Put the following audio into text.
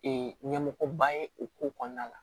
ɲɛmɔgɔba ye o ko kɔnɔna la